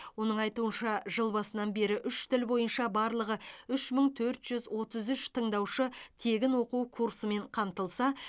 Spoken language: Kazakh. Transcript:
оның айтуынша жыл басынан бері үш тіл бойынша барлығы үш мың төрт жүз отыз үш тыңдаушы тегін оқу курсымен қамтылса